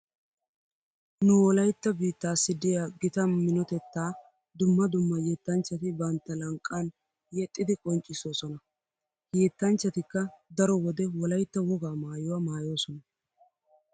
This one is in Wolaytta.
Nu wolaytta biittaassi diya gita minotettaa dumma dumma yettanchchati bantta lanqqan yexxidi qonccissoosona. He yettanchchatikka daro wode wolaytta wogaa maayuwa maayoosona.